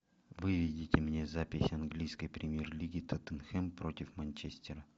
выведите мне запись английской премьер лиги тоттенхэм против манчестера